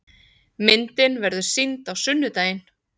Myndin verður sýnd á sunnudaginn.